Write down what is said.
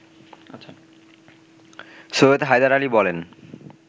সৈয়দ হায়দার আলী বলেন